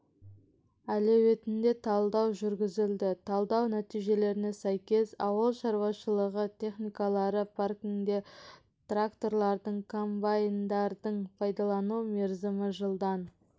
әлеуетіне талдау жүргізілді талдау нәтижелеріне сәйкес ауыл шаруашылығы техникалары паркіндегі тракторлардың комбайндардың пайдалану мерзімі жылдан